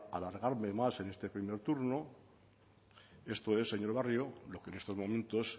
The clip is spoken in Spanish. a alargarme más en este primer turno esto es señor barrio lo que en estos momentos